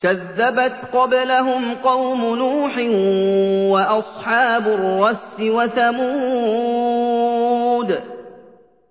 كَذَّبَتْ قَبْلَهُمْ قَوْمُ نُوحٍ وَأَصْحَابُ الرَّسِّ وَثَمُودُ